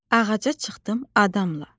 Ağaca çıxdım adamla.